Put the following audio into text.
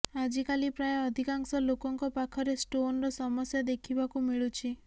ଆଜିକାଲି ପ୍ରାୟ ଅଧିକାଂଶ ଲୋକଙ୍କ ପାଖରେ ଷ୍ଟୋନର ସମସ୍ୟା ଦେଖିବାକୁ ମିଳୁଛି